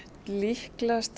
líklegast